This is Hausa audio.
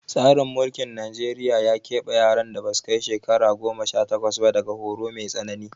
Tsarin mulkin Najeriya ya ƙeɓe yaran da ba su kai shekara goma sha takwas ba daga horo mai tsanani